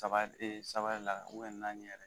Saba e saba de la ubɛn naani yɛrɛ